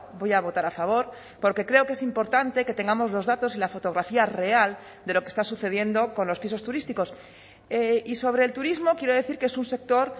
voy a votar a favor porque creo que es importante que tengamos los datos y la fotografía real de lo que está sucediendo con los pisos turísticos y sobre el turismo quiero decir que es un sector